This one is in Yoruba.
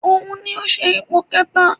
Òun ni ó ṣe ipò kẹta